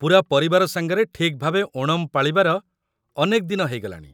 ପୂରା ପରିବାର ସାଙ୍ଗରେ ଠିକ୍ ଭାବେ ଓଣମ୍ ପାଳିବାର ଅନେକ ଦିନ ହେଇଗଲାଣି ।